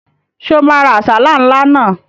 Ṣé o máa ra àsálà ńlá náà?